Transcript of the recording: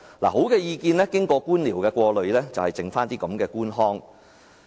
看，好的意見經過官僚的過濾後，便只餘下這種官腔。